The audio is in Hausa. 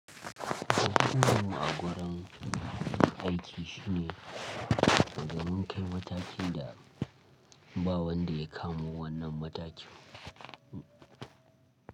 Mutumin a wurin aiki shine wajen mun kai mataki da ba wanda ya kamo wannan matakin.